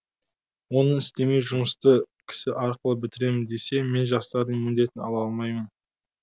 оны істемей жұмысты кісі арқылы бітірем десе мен жастардың міндетін ала алмаймын